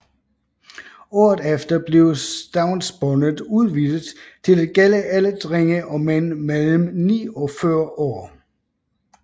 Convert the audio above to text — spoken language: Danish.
Året efter blev stavnsbåndet udvidet til at gælde alle drenge og mænd mellem ni og 40 år